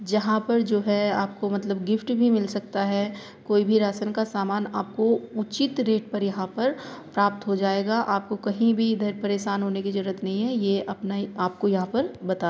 जहा पर जो है आपको मतलब गिफ्ट भी मिल सकता है। कोई भी राशन का सामान आपको उचित रेट पर यहाँ पर प्राप्त हो जाएगा आपको कहीं भी इधर परेशान होने की जरूरत नहीं है ये अपना ही आपको यह पर बताया।